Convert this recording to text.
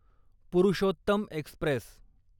Purushottam Express